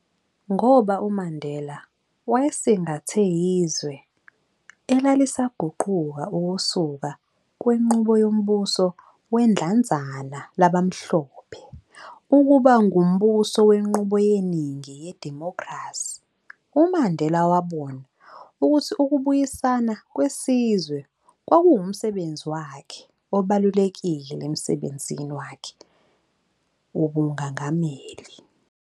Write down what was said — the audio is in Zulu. Ngoba uMandela wayesingathe izwe elalisaguquka ukusuka kwinqubo yombuso wedlanzana labamhlophe ukuba ngumbuso wenqubu yeningi yedimokhrasi, uMandela wabona ukuthi ukubuyisana kwesizwe kwakuwumsebenzi wakhe obalulekile emsebenzini wakhe wobungagmeli.